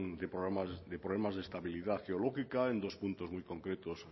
de problemas de estabilidad geológica en dos puntos muy concretos